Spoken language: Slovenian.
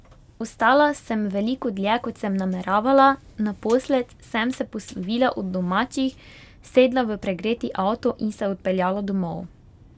Ostala sem veliko dlje, kot sem nameravala, naposled sem se poslovila od domačih, sedla v pregreti avto in se odpeljala domov.